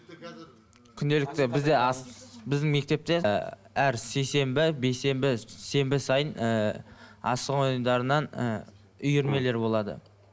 күнделікті бізде біздің мектепте ы әр сейсенбі бейсенбі сенбі сайын ы асық ойындарынан ы үйірмелер болады